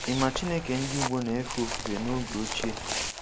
Ị ma Chineke ndị Igbo na-efe ofufe n’oge ochie?